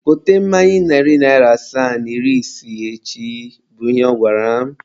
Gote mmanya narị asaa na iri isii echi! bụ ihe ọ gwara m.